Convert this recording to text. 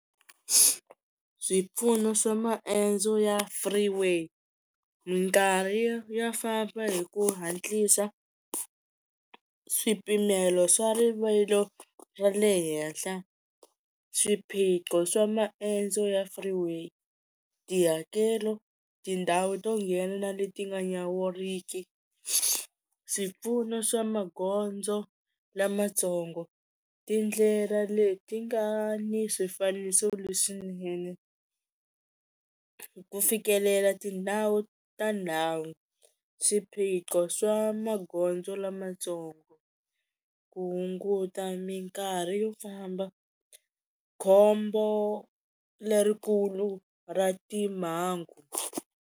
Swipfuno swa maendzo ya freeway minkarhi yo ya famba hi ku hatlisa, swipimelo swa rivilo ra le henhla, swiphiqo swa maendzo ya freeway, tihakelo tindhawu to nghena leti nga nyawuriki, swipfuno swa magondzo lamatsongo, tindlela leti nga ni swifaniso leswinene, ku fikelela tindhawu ta ndhawu, swiphiqo swa magondzo lamatsongo, ku hunguta minkarhi yo famba, khombo lerikulu ra timhangu.